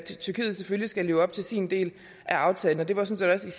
tyrkiet selvfølgelig skal leve op til sin del af aftalen og det var sådan set